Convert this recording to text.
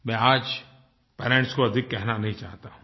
मैं आज पेरेंट्स को अधिक कहना नहीं चाहता हूँ